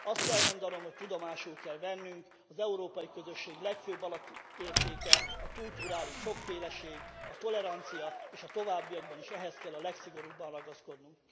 Azt kell mondanom, hogy tudomásul kell vennünk, hogy az európai közösség legfőbb alapértéke a kulturális sokféleség, a tolerancia, és a továbbiakban is ehhez kell a legszigorúbban ragaszkodnunk.